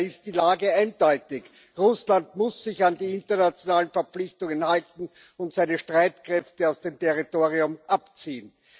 Daher ist die Lage eindeutig Russland muss sich an die internationalen Verpflichtungen halten und seine Streitkräfte aus dem Territorium abziehen.